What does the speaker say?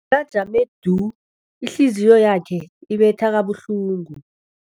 Bekajame du, ihliziyo yakhe ibetha kabuhlungu.